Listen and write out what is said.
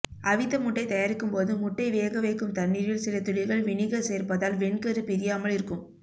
அவித்த முட்டை தயாரிக்கும் போது முட்டை வேக வைக்கும் தண்ணரீல் சில துளிகள் வினிகர் சேர்ப்பதால் வெண்கரு பிரியாமல் இருக்கும்